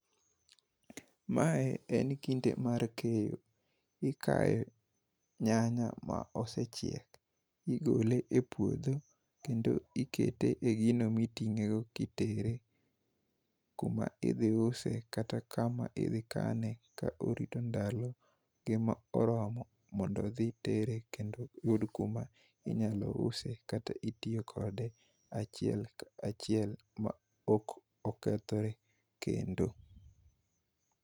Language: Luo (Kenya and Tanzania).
Mae en kinde mar keyo. Ikayo nyanya ma osechiek igole e puodho kendo ikete gino miting'e go kitere kuma idhi use kata kuma idhi kane , ka orito ndalo ge ma oromo mondo odhi tere kendo yud kuma inyalo use kata itiyo kode achiel kachiel ma ok okethre kendo.